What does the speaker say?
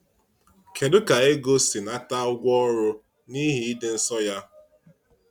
Kedu ka Égó si nata ụgwọ ọrụ n’ihi ịdị nsọ ya?